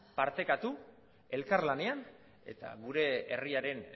partekatu elkarlanean eta gure herriaren